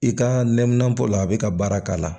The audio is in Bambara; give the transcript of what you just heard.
I ka nɛminanpo la a bɛ ka baara k'a la